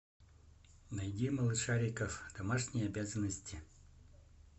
найди малышариков домашние обязанности